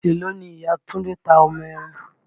Èló ni Ìya Túndé ta ọmọ ẹran?